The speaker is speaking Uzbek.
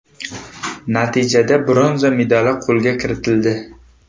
Natijada bronza medali qo‘lga kiritildi.